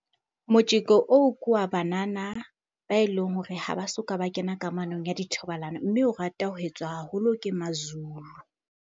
Motjeko oo, ke wa banana ba eleng hore ha ba soka ba kena kamanong ya dithobalano. Mme o rata ho etswa haholo ke mazulu.